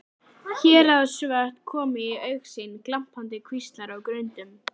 Héraðsvötn komu í augsýn, glampandi kvíslar á grundum.